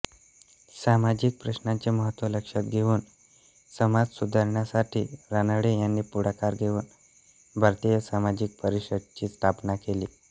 सामाजिक प्रश्नांचे महत्त्व लक्षात घेऊन समाजसुधारणांसाठी रानडे यांनी पुढाकार घेऊन भारतीय सामाजिक परिषदेची स्थापना केली